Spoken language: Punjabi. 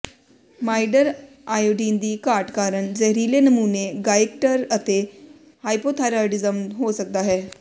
ਮਾਈਡਰ ਆਇਓਡੀਨ ਦੀ ਘਾਟ ਕਾਰਨ ਜ਼ਹਿਰੀਲੇ ਨਮੂਨੇ ਗਾਇਕਟਰ ਅਤੇ ਹਾਈਪਰਥਾਈਰੋਡਿਜਮ ਹੋ ਸਕਦਾ ਹੈ